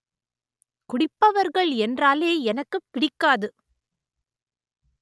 குடிப்பவர்கள் என்றாலே எனக்குப் பிடிக்காது